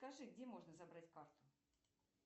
скажи где можно забрать карту